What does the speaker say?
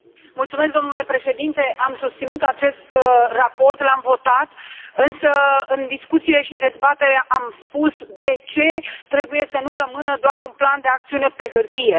Mulțumesc domnule președinte, am susținut acest raport, l am votat, însă în discuțiile și în dezbatere am spus de ce trebuie să nu rămână doar un plan de acțiune pe hârtie.